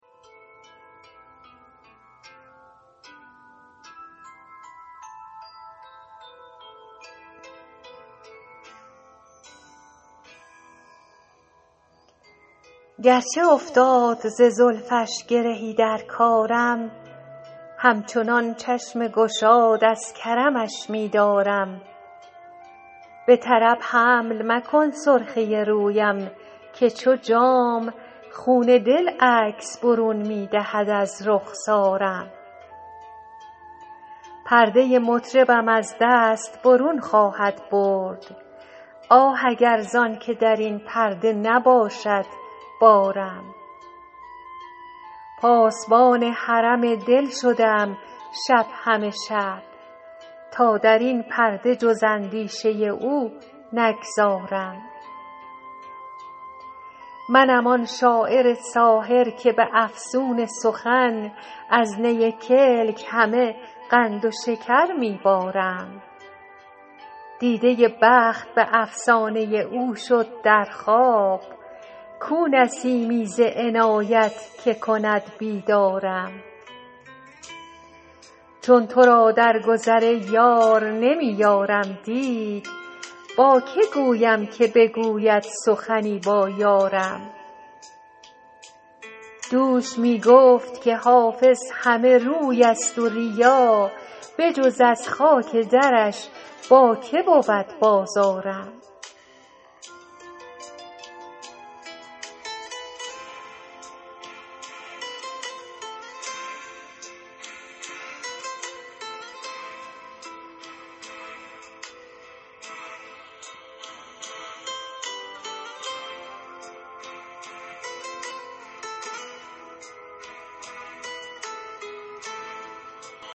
گرچه افتاد ز زلفش گرهی در کارم همچنان چشم گشاد از کرمش می دارم به طرب حمل مکن سرخی رویم که چو جام خون دل عکس برون می دهد از رخسارم پرده مطربم از دست برون خواهد برد آه اگر زان که در این پرده نباشد بارم پاسبان حرم دل شده ام شب همه شب تا در این پرده جز اندیشه او نگذارم منم آن شاعر ساحر که به افسون سخن از نی کلک همه قند و شکر می بارم دیده بخت به افسانه او شد در خواب کو نسیمی ز عنایت که کند بیدارم چون تو را در گذر ای یار نمی یارم دید با که گویم که بگوید سخنی با یارم دوش می گفت که حافظ همه روی است و ریا بجز از خاک درش با که بود بازارم